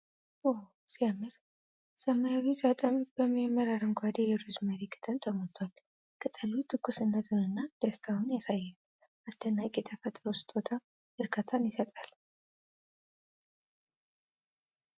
ዋው ሲያምር! ሰማያዊው ሳጥን በሚያምር አረንጓዴ የሮዝመሪ ቅጠል ተሞልቷል ። ቅጠሉ ትኩስነቱንና ደስታውን ያሳያል ። አስደናቂ የተፈጥሮ ስጦታ እርካታን ይሰጣል!